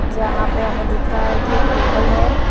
जहाँ पे हमें दिख रहा है कि एक टेबल है।